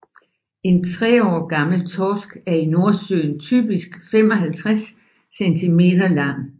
En tre år gammel torsk er i Nordsøen typisk 55 centimeter lang